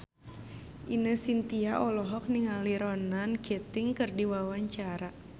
Ine Shintya olohok ningali Ronan Keating keur diwawancara